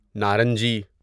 نارنجی